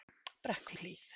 Brekkuhlíð